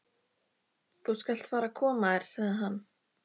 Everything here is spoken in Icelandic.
Þú skalt fara að koma þér, sagði hann.